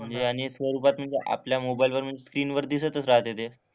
म्हणजे अनेक स्वरूपात आपल्या मोबाईलवरून स्क्रीनवर दिसतंच राहते ते.